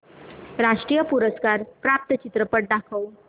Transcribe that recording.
राष्ट्रीय पुरस्कार प्राप्त चित्रपट दाखव